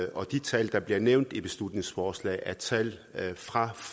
og de tal der bliver nævnt i beslutningsforslaget er tal fra